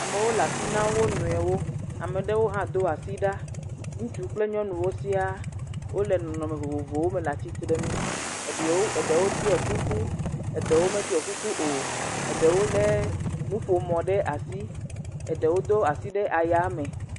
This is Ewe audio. Amewo le asi nam wo nɔewo, ame aɖewo hã do asi ɖa, ŋutsu kple nyɔnuwo sia wole nɔnɔme vovovowo me le atsitre nu eɖiewo.., eɖewo ɖɔ kuku eɖewo meɖɔ kuku o, eɖewo lé nuƒomɔ ɖe asi eɖewo do asi ɖe aya me.